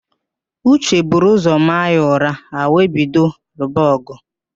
Uche buru ụzọ maa ya ụra, ha wee bido lụba ọgụ